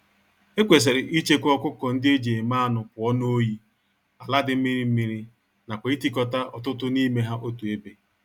Ekwesịrị ichekwa ọkụkọ-ndị-eji-eme-anụ pụọ n'oyi, àlà dị mmiri mmiri nakwa itikota ọtụtụ n'ime ha otú ébé